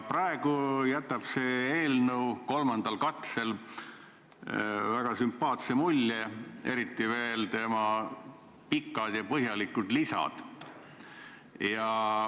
Praegu, kolmandal katsel jätab eelnõu väga sümpaatse mulje, eriti selle pikad ja põhjalikud lisad.